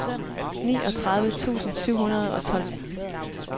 niogtredive tusind syv hundrede og tolv